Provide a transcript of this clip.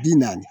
Bi naani